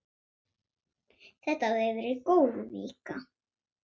Þetta hafði verið góð vika.